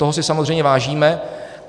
Toho si samozřejmě vážíme.